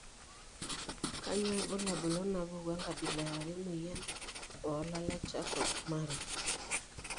Kainyio irbulabul onaapuku enkabila e are O emuoyian oolala eCharcot Marie?